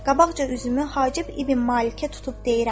Qabaqca üzümü Hacib İbn Malikə tutub deyirəm.